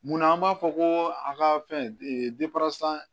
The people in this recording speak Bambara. Munna an b'a fɔ ko a ka fɛn